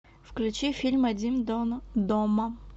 включи фильм один дома